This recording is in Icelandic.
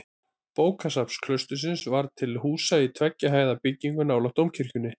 Bókasafn klaustursins var til húsa í tveggja hæða byggingu nálægt dómkirkjunni.